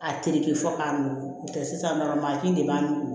A terike fɔ k'a nugu n'o tɛ sisan nɔ mansin de b'an nugu